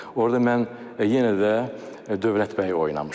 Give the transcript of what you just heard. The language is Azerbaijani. Orda mən yenə də Dövlət bəyi oynamışam.